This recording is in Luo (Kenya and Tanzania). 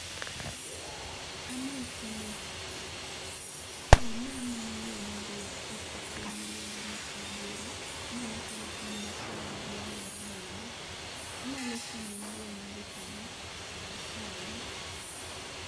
amosi ma, ee namanyo yoo madhi esikul miluongo ni Obuora, nonyisa ni en machiegni gi aluora niendi, inyalo siemo na yoo madhi kanyo? asai